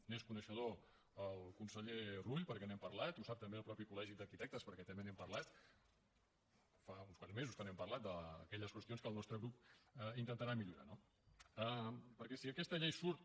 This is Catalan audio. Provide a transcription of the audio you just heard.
n’és coneixedor el conseller rull perquè n’hem parlat i ho sap també el mateix col·legi d’arquitectes perquè també n’hem parlat fa uns quants mesos que en parlem d’aquelles qüestions que el nostre grup intentarà millorar no perquè si aquesta llei surt